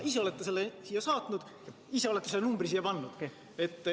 Ise olete selle siia saatnud, ise olete selle numbri siia pannud.